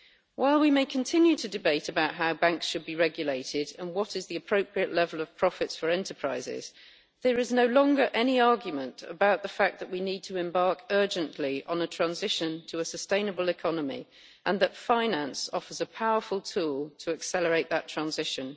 While we may continue to debate about how banks should be regulated and what is the appropriate level of profits for enterprises, there is no longer any argument about the fact that we need to embark urgently on a transition to a sustainable economy and that finance offers a powerful tool to accelerate that transition.